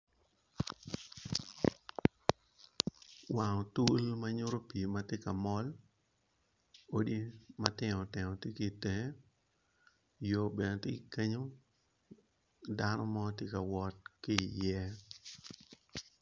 Wang otul manyuto pi matye ka mol agulu matino tino tye ki itenge yo bene tye ki kenyo dano mo tye ka wot ki ye.